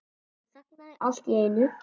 Hann þagnaði allt í einu.